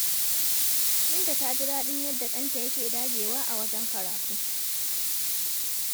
Binta ta ji daɗin yadda ɗanta yake dagewa a wajen karatu.